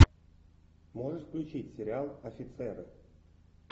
можешь включить сериал офицеры